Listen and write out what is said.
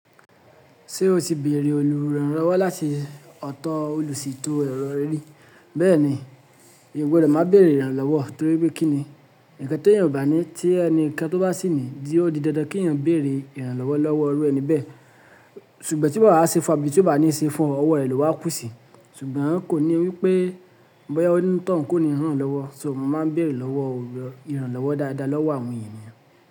Ṣé o ti béèrè olùrànlọ́wọ́ láti ọ̀tọ̀ olùsítò ẹ̀rọ rí? Bẹ́ẹ̀ni, èyan o gbọdọ̀ máa béèrè ìrànlọ́wọ́ torí pé kí ni? Ǹkan tí eyàn o bàní tí ẹni kan tó bá sìní, ó di dandan kí ẹ̀yàn béèrè ìrànlọ́wọ́ lọ́wọ́ iru ẹni bẹ́ẹ̀. Ṣùgbọ́n tí o bá wá ṣe fún àbì tí ó bá ní ṣe fún ọ, ọwọ́ rẹ̀ ló wá kú sí. Ṣùgbọ́n kò ní wípé bọ́yá ó ní tọ̀un kó ni rànlọ́wọ́, só mo máa ń béèrè lọ́wọ́ olùrànlọ́wọ́ dáadáa lọ́wọ́ àwọn ènìyàn.